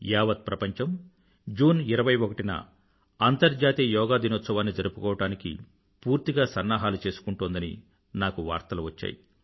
యావత్ ప్రపంచం జూన్ 21న అంతర్జాతీయ యోగా దినోత్సవాన్ని జరుపుకోవడానికి పూర్తిగా సన్నాహాలు చేసుకుంటోందని నాకు వార్తలు వచ్చాయి